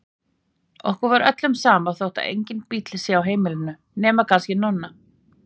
Okkur er öllum sama þó að enginn bíll sé á heimilinu, nema kannski Nonna.